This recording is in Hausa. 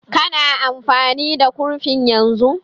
Ka na amfani da kurfin yanzu?